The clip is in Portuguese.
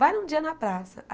Vai um dia na praça.